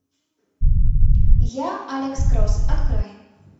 я алекс кросс открой